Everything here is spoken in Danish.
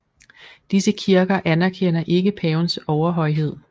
Disse kirker anerkender ikke pavens overhøjhed